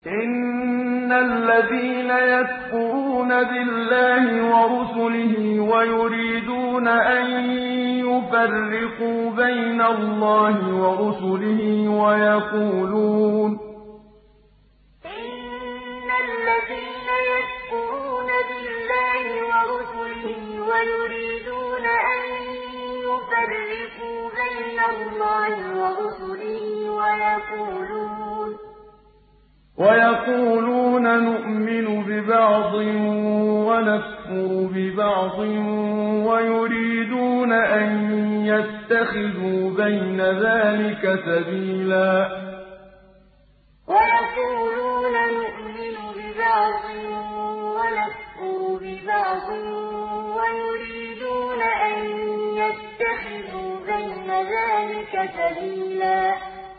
إِنَّ الَّذِينَ يَكْفُرُونَ بِاللَّهِ وَرُسُلِهِ وَيُرِيدُونَ أَن يُفَرِّقُوا بَيْنَ اللَّهِ وَرُسُلِهِ وَيَقُولُونَ نُؤْمِنُ بِبَعْضٍ وَنَكْفُرُ بِبَعْضٍ وَيُرِيدُونَ أَن يَتَّخِذُوا بَيْنَ ذَٰلِكَ سَبِيلًا إِنَّ الَّذِينَ يَكْفُرُونَ بِاللَّهِ وَرُسُلِهِ وَيُرِيدُونَ أَن يُفَرِّقُوا بَيْنَ اللَّهِ وَرُسُلِهِ وَيَقُولُونَ نُؤْمِنُ بِبَعْضٍ وَنَكْفُرُ بِبَعْضٍ وَيُرِيدُونَ أَن يَتَّخِذُوا بَيْنَ ذَٰلِكَ سَبِيلًا